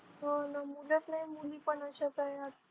हो ना मग मुलंच नाही मुली पण अशाच आहे आता